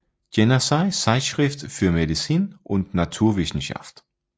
Jenaische Zeitschrift für Medizin und Naturwissenschaft